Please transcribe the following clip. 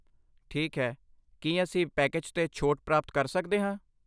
ਠੀਕ ਹੈ, ਕੀ ਅਸੀਂ ਪੈਕੇਜ 'ਤੇ ਛੋਟ ਪ੍ਰਾਪਤ ਕਰ ਸਕਦੇ ਹਾਂ?